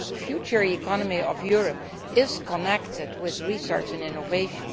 The future economy of Europe is connected with research and innovation